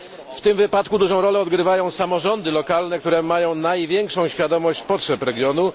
W tym wypadku dużą rolę odgrywają samorządy lokalne, które mają największą świadomość potrzeb regionu.